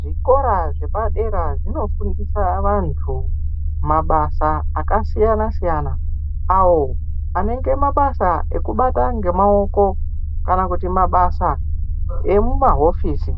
Zvikora zvepadera zvinofundisa vantu mabasa akasiyana-siyana awo anenge mabasa ekubata ngemaoko kana kuti mabasa emumahofisi.